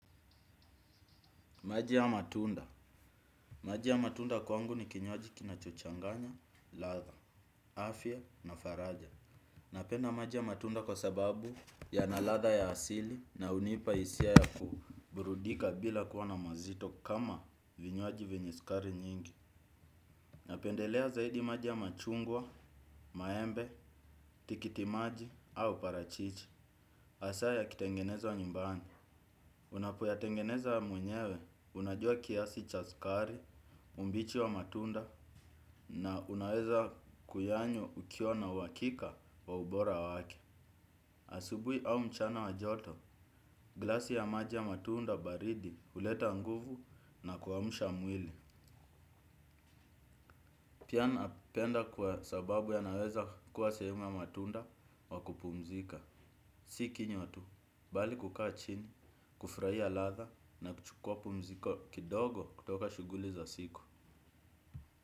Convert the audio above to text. Maji au matunda. Maji ya matunda kwangu ni kinywaji kinachochanganya ladha, afya na faraja. Napenda maji ya matunda kwa sababu yana ladha ya asili na hunipa hisia ya kuburudika bila kuwa na mazito kama vinywaji venye sukari nyingi. Napendelea zaidi maji ya machungwa, maembe, tikitimaji au parachichi. Hasa yakitengenezwa nyumbani, unapoyatengeneza mwenyewe, unajua kiasi cha sukari, umbichi wa matunda na unaweza kuyanywa ukiwa na uhakika wa ubora wake. Asubuhi au mchana wa joto, glasi ya maji ya matunda baridi, huleta nguvu na kuamsha mwili. Pia napenda kwa sababu yanaweza kuwa sehemu ya matunda wa kupumzika. Si kinywa tu, bali kukaa chini, kufurahia ladha na kuchukuwa pumziko kidogo kutoka shughuli za siku.